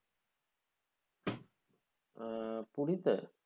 আহ পুরিতে?